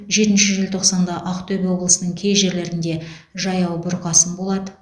жетінші желтоқсанда ақтөбе облысының кей жерлерінде жаяу бұрқасын болады